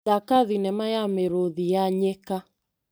Thaka thinema ya mĩrũthi ya nyĩka.